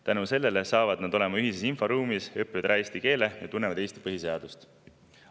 Tänu sellele saavad nad olema ühises inforuumis, õpivad ära eesti keele ja tunnevad Eesti põhiseadust.